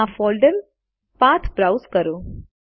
આ folder path browse કરો